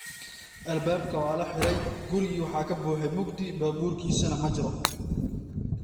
Albaabka waa la xidhay, gurigii waxa ka buuxay mugdi, baabuurkiisuna ma jiro.